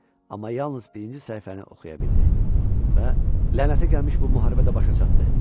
Amma yalnız birinci səhifəni oxuya bildi və lənətə gəlmiş bu müharibə də başa çatdı.